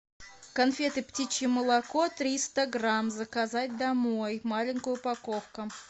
конфеты птичье молоко триста грамм заказать домой маленькая упаковка